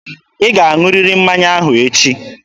Ị ga-aṅụrịrị mmanya ahụ echi!